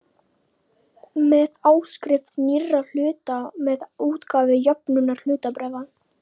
með áskrift nýrra hluta og með útgáfu jöfnunarhlutabréfa.